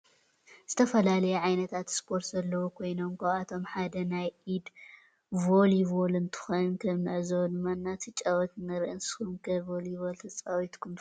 ዝተፈላለዩ ዓይነታት ስፓርት ዘለዎ ኮይኖም ካብአቶም ሓደ ናይ ኢድ ቮሊቮል እንትኮን ከም ንዕዞቦ ድማ እናተጫወቱ ንሪኢ ንስኩም ከ ቮሊቮል ተፃዊትኩም ትፈልጡ ዶ?